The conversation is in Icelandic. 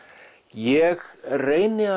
ég reyni að